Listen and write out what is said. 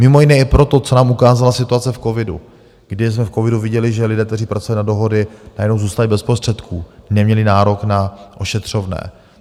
Mimo jiné i proto, co nám ukázala situace v covidu, kdy jsme v covidu viděli, že lidé, kteří pracují na dohody, najednou zůstali bez prostředků, neměli nárok na ošetřovné.